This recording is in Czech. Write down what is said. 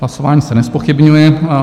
Hlasování se nezpochybňuje.